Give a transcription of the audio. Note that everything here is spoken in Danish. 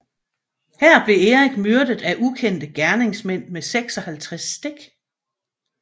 Her blev Erik myrdet af ukendte gerningsmænd med 56 stik